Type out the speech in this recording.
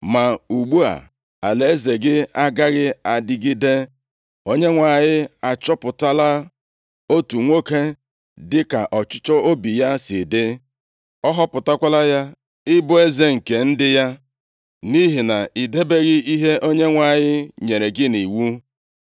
Ma ugbu a, alaeze gị agaghị adịgide. Onyenwe anyị achọpụtala otu nwoke dịka ọchịchọ obi ya si dị, ọ họpụtakwala ya ịbụ eze nke ndị ya; nʼihi na ị debeghị ihe Onyenwe anyị nyere gị nʼiwu.”